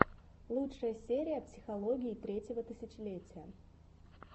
лучшая серия психологии третьего тысячелетия